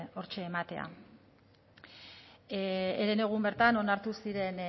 hortxe ematea herenegun bertan onartu ziren